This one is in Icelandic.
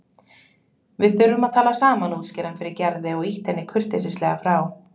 Við þurfum að tala saman útskýrði hann fyrir Gerði og ýtti henni kurteislega frá.